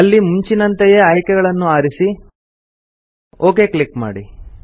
ಅಲ್ಲಿ ಮುಂಚಿನಂತೆಯೇ ಆಯ್ಕೆಗಳನ್ನು ಆರಿಸಿ ಒಕ್ ಕ್ಲಿಕ್ ಮಾಡಿ